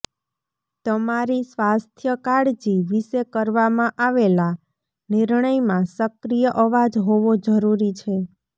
તમારી સ્વાસ્થ્ય કાળજી વિશે કરવામાં આવેલા નિર્ણયમાં સક્રિય અવાજ હોવો જરૂરી છે